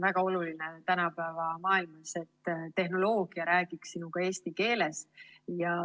Väga oluline on tänapäeva maailmas, et tehnoloogia räägiks sinuga eesti keeles.